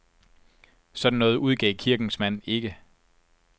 Sådan noget udgav kirkens mand ikke.